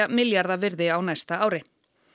milljarða virði á næsta ári